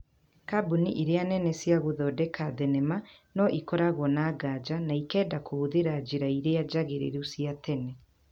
Kambũni iria nene cia gũthondeka thenema, no ĩkoragwo na nganja na ikenda kũhũthĩra njĩra iria njagĩrĩru cia tene.